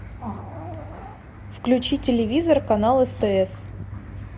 включи телевизор канал стс